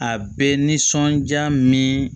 A bɛ nisɔndiya min